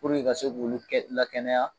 Puruke ka se k'olu kɛ la kɛnɛya